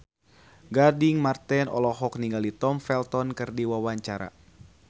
Gading Marten olohok ningali Tom Felton keur diwawancara